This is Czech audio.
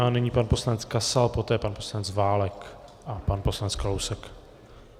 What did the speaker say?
A nyní pan poslanec Kasal, poté pan poslanec Válek a pan poslanec Kalousek.